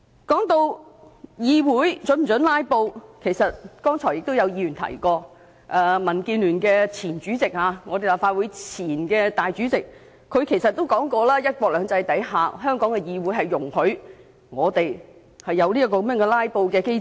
說到議會是否准許"拉布"，其實剛才亦有議員提出，民建聯前主席兼立法會前主席曾經指出，在"一國兩制"下，香港議會容許設有"拉布"的機制。